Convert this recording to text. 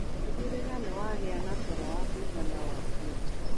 Tigĩrĩra nĩwagia na toro wa kũigana o mũthenya